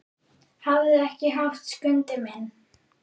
Hafðu ekki hátt, Skundi minn.